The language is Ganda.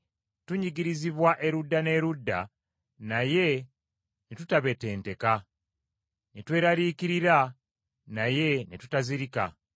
Tunyigirizibwa erudda n’erudda, naye ne tutabetenteka. Ne tweraliikirira, naye ne tutazirika.